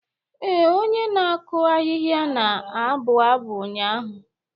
Ee, onye na-akụ ahịhịa na-abụ abụ ụnyaahụ.